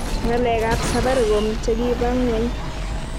ngalek ab safaricom chekiba ngweng